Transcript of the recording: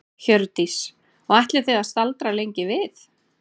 Hjördís: Og ætlið þið að staldra lengi við?